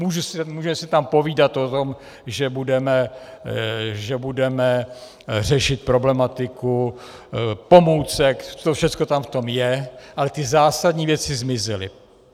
Může se tam povídat o tom, že budeme řešit problematiku pomůcek, to všechno tam v tom je, ale ty zásadní věci zmizely.